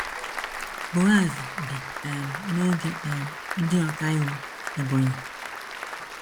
Boaz bi um n’oge um ndị ọkàiwu Ebonyi.